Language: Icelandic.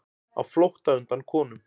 Á flótta undan konum